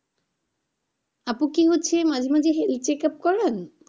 আপু কি হচ্ছে মাঝে মাঝে health checkup করান?